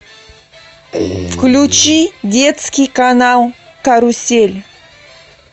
включи детский канал карусель